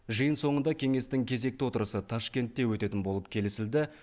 жиын соңында кеңестің кезекті отырысы ташкентте өтетін болып келісілді